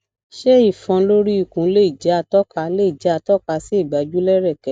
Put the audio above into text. ṣé ifon lori ikun le jẹ atoka le jẹ atoka si igbaju lereke